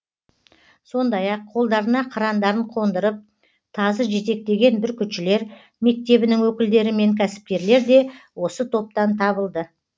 сондай ақ қолдарына қырандарын қондырып тазы жетектеген бүркітшілер мектебінің өкілдері мен кәсіпкерлер де осы топтан табылды